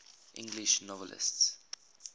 english novelists